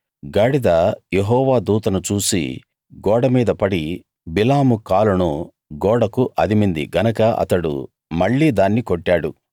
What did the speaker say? గాడిద యెహోవా దూతను చూసి గోడ మీద పడి బిలాము కాలును గోడకు అదిమింది గనక అతడు మళ్ళీ దాన్ని కొట్టాడు